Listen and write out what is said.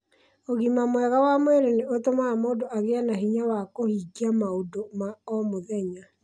Ũgima mwega wa mwĩrĩ nĩ ũtũmaga mũndũ agĩe na hinya wa kũhingia maũndũ ma o mũthenya